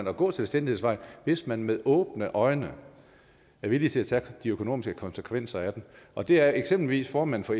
at gå selvstændighedsvejen og hvis man med åbne øjne er villig til at tage de økonomiske konsekvenser af den og det er eksempelvis formanden for